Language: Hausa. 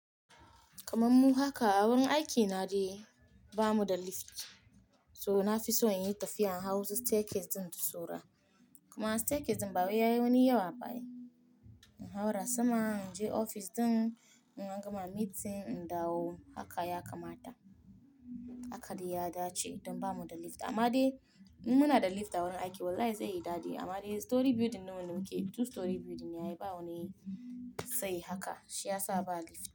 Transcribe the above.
Kaman mu haka, wurin aiki na dai ba mu da lift. So na fi so in yi tafiya in hau su staircase din in tsoro. Kuma staircase din bawai yayi wani yawa ba ai. In haura sama, in je ofis din, in an gama meeting in dawo haka ya kamata. Haka dai ya dace don ba mu da lift. Amma dai munada lift a wurin aiki wallahi zai yi dadi. Amma dai storey building nawa ne, okay two storey building ne, ai ba wani sai haka shi ya sa ba lift.